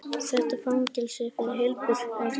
Þetta fangelsi er fyrir heilbrigt fólk.